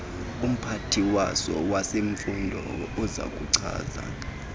umphathiswa wezemfundo uzakuchaza